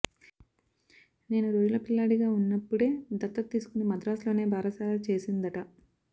నేను రోజుల పిల్లాడిగా ఉన్నప్పుడే దత్తతు తీసుకుని మద్రాసులోనే బారసాల చేసిందట